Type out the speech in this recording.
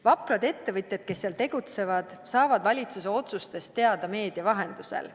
Vaprad ettevõtjad, kes seal tegutsevad, saavad valitsuse otsustest teada meedia vahendusel.